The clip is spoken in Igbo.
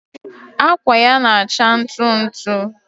akwa ya na-acha ntụ ntụ.